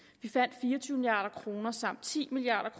vi fandt fire og tyve milliard kroner samt ti milliard